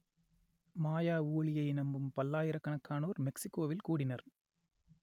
மாயா ஊழியை நம்பும் பல்லாயிரக்கணக்கானோர் மெக்சிக்கோவில் கூடினர்